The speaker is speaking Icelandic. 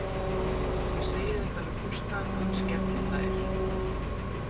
Ég segi þetta við Gústa, hann skellihlær.